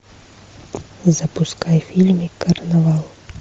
запускай фильм карнавал